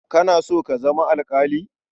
Kana so ka zama alƙali?